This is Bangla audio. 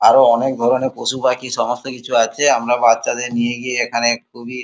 আরো অনেক ধরণের পশুপাখি সমস্ত কিছু আছে আমরা বাচ্চাদের নিয়ে গিয়ে এখানে খুবি--